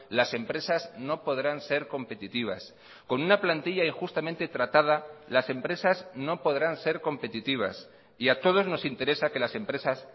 las empresas no podrán ser competitivas con una plantilla injustamente tratada las empresas no podrán ser competitivas y a todos nos interesa que las empresas